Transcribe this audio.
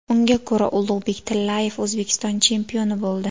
Unga ko‘ra, Ulug‘bek Tillayev O‘zbekiston chempioni bo‘ldi.